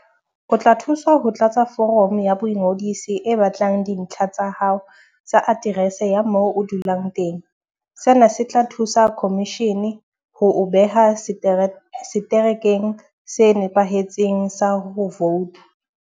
O tla thuswa ho tlatsa foromo ya boingodiso e batlang dintlha tsa hao tsa aterese ya moo o dulang teng. Sena se tla thusa khomishene ho o beha seterekeng se nepahetseng sa ho vouta.